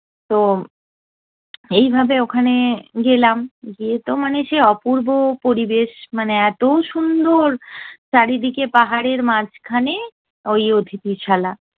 তো এইভাবে ওখানে গেলাম, গিয়ে তো মানে সে অপূর্ব পরিবেশ মানে এতো সুন্দর! চারিদিকে পাহাড়ের মাঝখানে ওই অতিথিশালা।